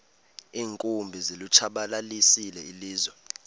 iinkumbi zilitshabalalisile ilizwe